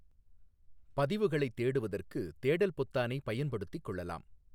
பதிவுகளை தேடுவதற்கு தேடல் பொத்தானை பயன்படுத்திக் கொள்ளலாம்.